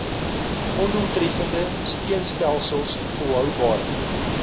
ondoeltreffende steunstelsels volhoubare